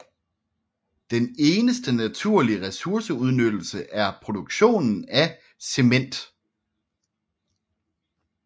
Den eneste naturlige ressourceudnyttelse er produktionen af cement